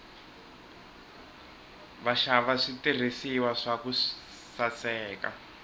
vaxava switirhiswa swa ku saseka